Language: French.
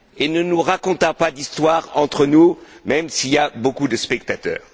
Ne nous racontons pas d'histoires entre nous, même s'il y a beaucoup de spectateurs.